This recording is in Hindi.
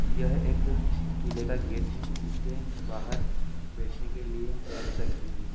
यह एक किले का गेट है इसके बाहर बैठने के लिए चेयर्स रखी हुई है।